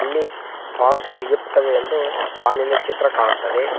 ಇಲ್ಲಿ ಪಾನ್ ಸಿಗುತ್ತವೆ ಎಂದು ಪಾನಿನ ಚಿತ್ರ ಕಾಣುತ್ತದೆ.